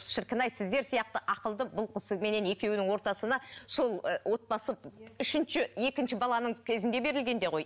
шіркін ай сіздер сияқты ақылды бұл кісіменен екеуінің ортасына сол ы отбасы үшінші екінші баланың кезінде берілгенде ғой